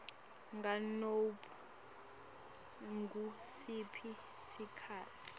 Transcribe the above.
nganobe ngusiphi sikhatsi